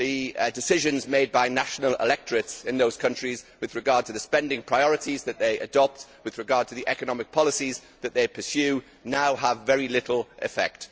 The decisions made by national electorates in these countries with regard to the spending priorities they adopt and the economic policies they pursue now have very little effect.